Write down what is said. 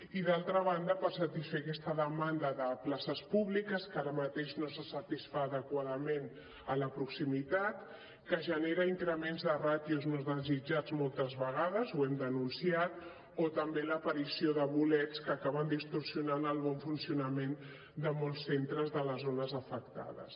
i d’altra banda per satisfer aquesta demanda de places públiques que ara mateix no se satisfà adequadament en la proximitat que genera increments de ràtios no desitjats moltes vegades ho hem denunciat o també l’aparició de bolets que acaben distorsionant el bon funcionament de molts centres de les zones afectades